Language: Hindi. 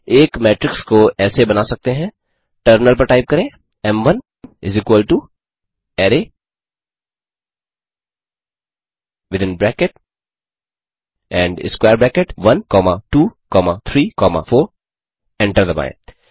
एक मेट्रिक्स को ऐसे बना सकते हैं टर्मिनल पर टाइप करें M one array within bracket and square bracket 1 comma 2 comma 3 comma 4 enter दबाएँ